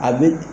A bɛ